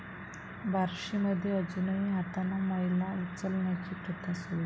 बार्शीमध्ये अजूनही हातानं मैला उचलण्याची प्रथा सुरूच